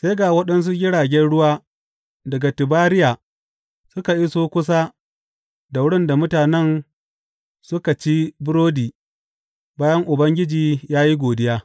Sai ga waɗansu jiragen ruwa daga Tibariya suka iso kusa da wurin da mutanen suka ci burodi bayan Ubangiji ya yi godiya.